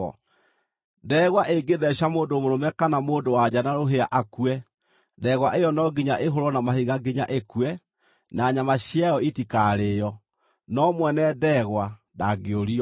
“Ndegwa ĩngĩtheeca mũndũ mũrũme kana mũndũ-wa-nja na rũhĩa akue, ndegwa ĩyo no nginya ĩhũũrwo na mahiga nginya ĩkue, na nyama ciayo itikarĩĩo. No mwene ndegwa ndangĩũrio.